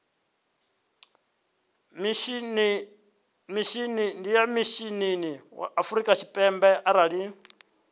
mishinini wa afrika tshipembe arali